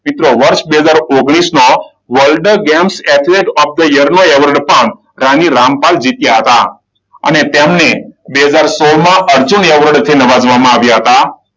મિત્રો બે હજાર ઓગણીસમાં world games athlete of the year નુ એવોર્ડ પણ રાણી રામપાલ જીત્યા હતા. અને તેમને બે હજાર સોળમાં અર્જુન એવોર્ડ થી નવાજવામાં આવ્યા હતા.